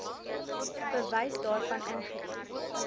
bewys daarvan ingedien